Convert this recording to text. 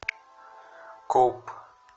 коп